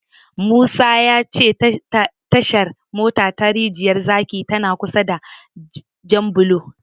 Musa ya ce Tashar mota ta Rijiyar zaki tana kusa da Janbulo.